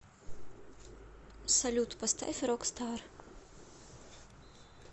салют поставь рокстар